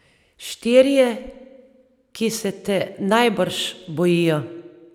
Štirje, ki se te najbrž bojijo.